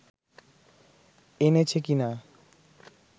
এনেছে কিনা